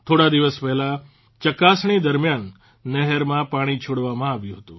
થોડા દિવસ પહેલાં ચકાસણી દરમ્યાન નહેરમાં પાણી છોડવામાં આવ્યું હતું